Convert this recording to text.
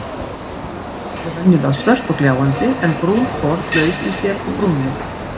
Steinkol eru venjulega svört og gljáandi en brúnkol laus í sér og brúnleit.